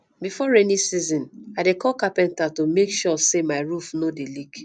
before rainy season i dey call carpenter to make sure sey my roof no dey leak